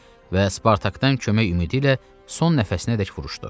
Və Spartakdan kömək ümidi ilə son nəfəsinədək vuruşdu.